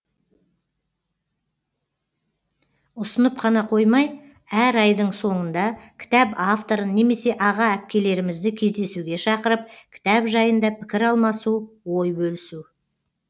ұсынып қана қоймай әр айдың соңында кітап авторын немесе аға әпкелерімізді кездесуге шақырып кітап жайында пікір алмасу ой бөлісу